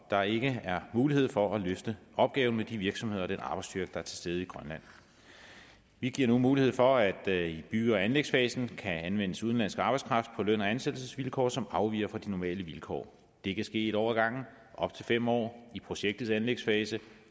der ikke er mulighed for at løfte opgaven med de virksomheder og den arbejdsstyrke der er til stede i grønland vi giver nu mulighed for at der i bygge og anlægsfasen kan anvendes udenlandsk arbejdskraft på løn og ansættelsesvilkår som afviger fra de normale vilkår det kan ske en år i op til fem år i projektets anlægsfase